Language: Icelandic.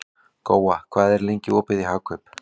Góa, hvað er lengi opið í Hagkaup?